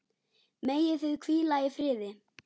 Megið þið hvíla í friði.